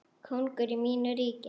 Kóngur í mínu ríki.